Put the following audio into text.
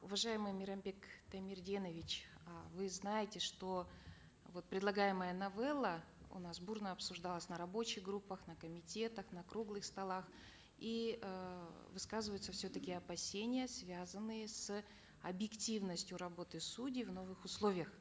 уважаемый мейрамбек таймерденович э вы знаете что вот предлагаемая новелла у нас бурно обсуждалась на рабочих группах на комитетах на круглых столах и э высказываются все таки опасения связанные с объективностью работы судей в новых условиях